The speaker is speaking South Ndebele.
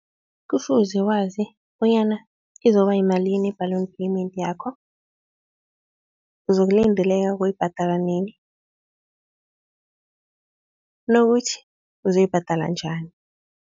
Kufuze wazi bonyana izoba yimalini i-balloon payment yakho, uzokulindeleka ukuyibhadala nini nokuthi uzoyibhadala njani.